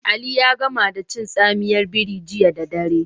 Ali ya gama da cin tsamiyar biri jiya da dare.